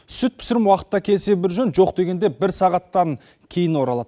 сүт пісірім уақытта келсе бір жөн жоқ дегенде бір сағаттан кейін оралады